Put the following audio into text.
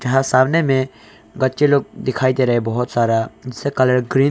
यहां सामने में गच्चे लोग दिखाई दे रहे हैं बहुत सारा जिसका कलर ग्रीन --